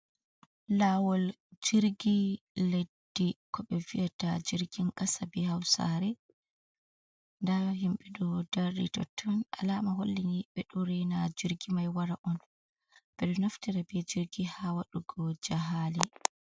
Laawol jirgi leddi, ko bef vi’ata jirgin kasa, ɓe hausare, nda himɓe do darri totton, alama hollini ɓe ɗo rena jirgi mai wara on, ɓe ɗo naftira be jirgi ha waɗugo jahale.